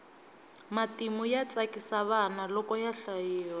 matimu ya tsakisa vana loko ya hlayiwa